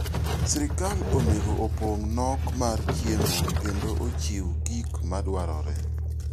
Sirkal onego opong' nok mar chiemo kendo ochiw gik madwarore.